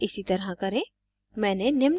कृपया इसी तरह करें